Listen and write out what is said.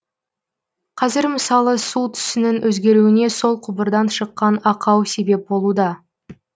қазір мысалы су түсінің өзгеруіне сол құбырдан шыққан ақау себеп болуда